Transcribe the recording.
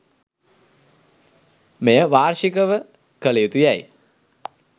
මෙය වාර්ෂිකව කළ යුතු යැයි